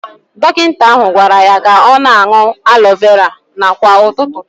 Dọkịta ahụ gwara ya ka ọ na-aṅụ aloe vera kwa ụtụtụ